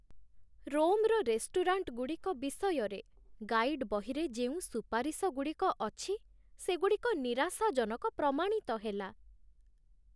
ରୋମ୍‌‌ର ରେଷ୍ଟୁରାଣ୍ଟଗୁଡ଼ିକ ବିଷୟରେ ଗାଇଡ ବହିରେ ଯେଉଁ ସୁପାରିଶଗୁଡ଼ିକ ଅଛି, ସେଗୁଡ଼ିକ ନିରାଶାଜନକ ପ୍ରମାଣିତ ହେଲା।